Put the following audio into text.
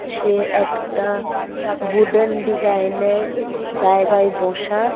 সে একটা উডেন ডিজাইনের জায়গায় বসা।